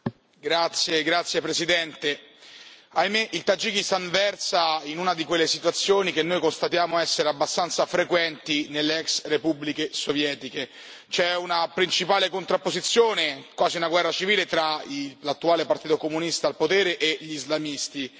Signor Presidente, onorevoli colleghi, ahimè il Tagikistan versa in una di quelle situazioni che noi constatiamo essere abbastanza frequenti nelle ex repubbliche sovietiche. C'è una principale contrapposizione, quasi una guerra civile, tra l'attuale partito comunista al potere e gli islamisti.